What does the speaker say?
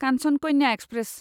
Kanchan Kanya express